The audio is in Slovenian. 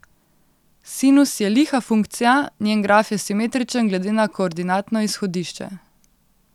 Sinus je liha funkcija, njen graf je simetričen glede na koordinatno izhodišče.